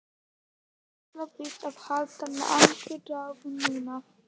Hún ætlar víst að halda langa ræðu núna.